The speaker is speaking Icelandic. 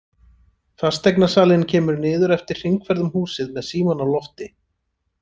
Fasteignasalinn kemur niður eftir hringferð um húsið með símann á lofti.